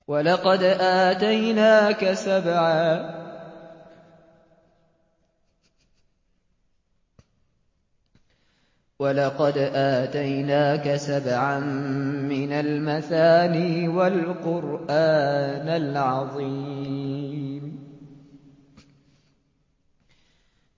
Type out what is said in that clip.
وَلَقَدْ آتَيْنَاكَ سَبْعًا مِّنَ الْمَثَانِي وَالْقُرْآنَ الْعَظِيمَ